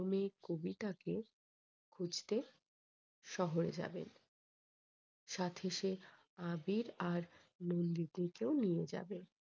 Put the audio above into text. কবিতাকে খুঁজতে শহরে যাবেন। সাথে সে আবির আর নন্দিনীকেও নিয়ে যাবে।